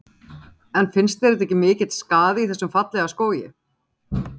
Karen Kjartansdóttir: En finnst þér þetta ekki mikill skaði í þessum fallega skógi?